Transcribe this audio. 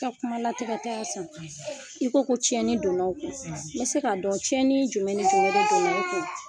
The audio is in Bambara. I ka kuma latigɛ t'Asan i ko ko tiɲɛni donn'aw kun, n bɛ se ka dɔn cɛni jumɛn jumɛn donn'aw kun ?